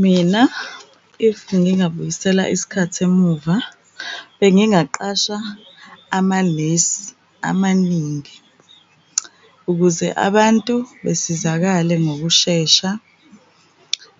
Mina if ngingabuyisela isikhathi emuva bengingaqasha amanesi amaningi ukuze abantu besizakale ngokushesha.